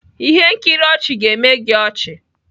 ihe nkiri ọchị ga-eme gị ọchị.